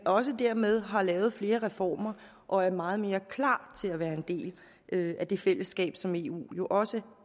også dermed har lavet flere reformer og er meget mere klar til at være en del af det fællesskab som eu jo også